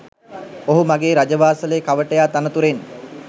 ඔහු මගේ රජවාසලේ කවටයා තනතුරෙන්